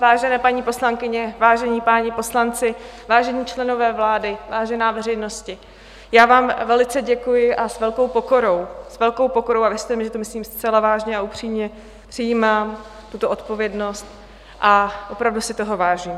Vážené paní poslankyně, vážení páni poslanci, vážení členové vlády, vážená veřejnosti, já vám velice děkuji a s velkou pokorou, s velkou pokorou a věřte mi, že to myslím zcela vážně a upřímně, přijímám tuto odpovědnost a opravdu si toho vážím.